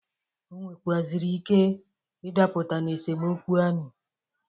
Ọ nwekwụazịrị ike ịdapụta n'esemokwu anị.